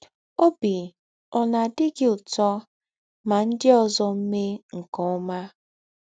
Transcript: Ọbi ọ̀ na - adị gị ụtọ ma ndị ọzọ mee nke ọma?